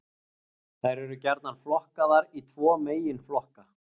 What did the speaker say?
Þær eru gjarnan flokkaðar í tvo meginflokka.